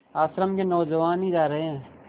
आश्रम के नौजवान ही जा रहे हैं